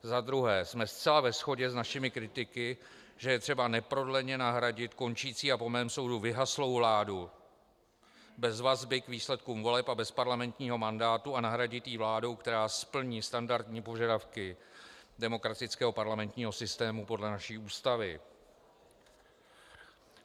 Za druhé jsme zcela ve shodě s našimi kritiky, že je třeba neprodleně nahradit končící a po mém soudu vyhaslou vládu bez vazby k výsledkům voleb a bez parlamentního mandátu a nahradit ji vládou, která splní standardní požadavky demokratického parlamentního systému podle naší Ústavy.